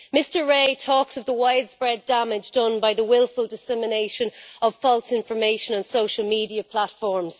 Mr Rae talks of the widespread damage done by the wilful dissemination of false information and social media platforms.